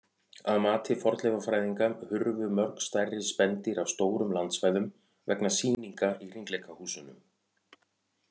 Að mati fornleifafræðinga hurfu mörg stærri spendýr af stórum landsvæðum vegna sýninga í hringleikahúsunum.